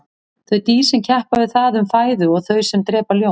þau dýr sem keppa við það um fæðu og þau sem drepa ljón